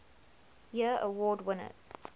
year award winners